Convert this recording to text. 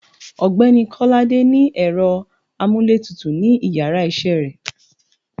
ọgbẹni kolade ni ero amú íle tútú ni íyarà iṣẹ re